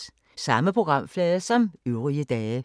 Samme programflade som øvrige dage